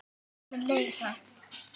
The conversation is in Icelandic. Tíminn leið hratt.